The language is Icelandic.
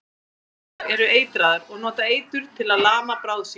Allar köngulær eru eitraðar og nota eitur til að lama bráð sína.